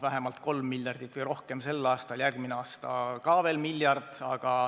Vähemalt kolm miljardit või rohkem sel aastal, järgmine aasta ka veel miljard.